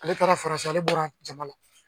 Ale taara faransi ale bɔra jamala.